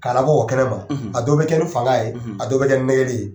K'a labɔ kɛnɛma a dɔw bɛ kɛ ni fanga ye a dɔw bɛ kɛ ni nɛgɛli ye.